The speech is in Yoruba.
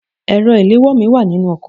My phone is in the car